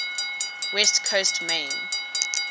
west coast main